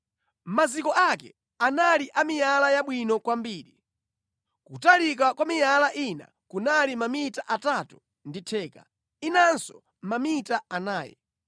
Maziko ake anali a miyala yabwino kwambiri, kutalika kwa miyala ina kunali mamita atatu ndi theka, inanso mamita anayi.